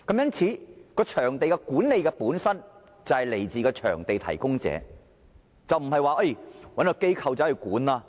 因此，場地管理本身便是來自場地提供者，並非只是找一間機構來管理。